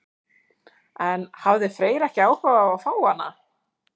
En hafði Freyr ekki áhuga á að fá hana?